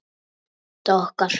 Tóta okkar.